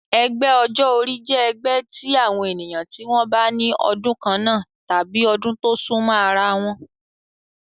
Ẹgbẹ́ ọjọ́ orí jẹ́ ẹgbẹ́ tí àwọn ènìyàn tí wọ́n bí ní ọdún kannáà tàbí ọdún tó súnmọ́ ara wọn